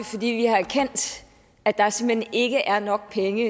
fordi vi har erkendt at der simpelt hen ikke er nok penge